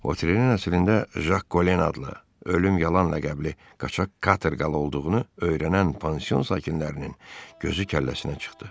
Votrenin əslində Jak Kolen adlı, ölüm yalan ləqəbli qaçaq katerqal olduğunu öyrənən pansion sakinlərinin gözü kəlləsinə çıxdı.